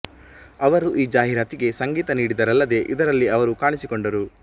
ಅವರು ಈ ಜಾಹೀರಾತಿಗೆ ಸಂಗೀತ ನೀಡಿದರಲ್ಲದೆ ಇದರಲ್ಲಿ ಅವರು ಕಾಣಿಸಿಕೊಂಡರು